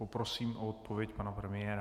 Poprosím o odpověď pana premiéra.